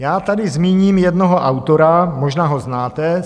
Já tady zmíním jednoho autora, možná ho znáte.